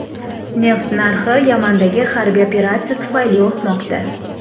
Neft narxi Yamandagi harbiy operatsiya tufayli o‘smoqda.